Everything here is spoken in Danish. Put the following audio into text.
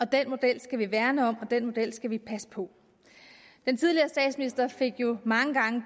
den model skal vi værne om og den model skal vi passe på den tidligere statsminister fik jo mange gange